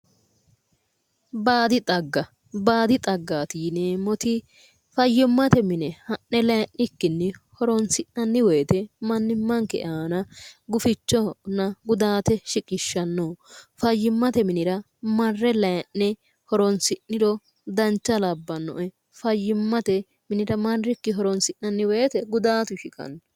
Baadi xagga baadi xaggaati yineemmoti fayyimmate mine ha'ne layii'nikkinni horonsi'nanni woyiite mannimmanke aana gufichinna gudaate shiqishshanno fayyimmate minira marre laayii'ne horonsi'niro dancha labbannoe fayyimmate minira marrikki horonsi'nanni woyiite gudaatu shiqanno